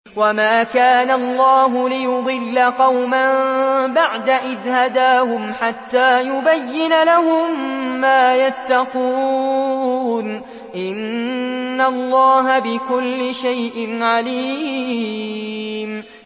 وَمَا كَانَ اللَّهُ لِيُضِلَّ قَوْمًا بَعْدَ إِذْ هَدَاهُمْ حَتَّىٰ يُبَيِّنَ لَهُم مَّا يَتَّقُونَ ۚ إِنَّ اللَّهَ بِكُلِّ شَيْءٍ عَلِيمٌ